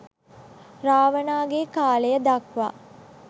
රාවණාගේ කාලය දක්වා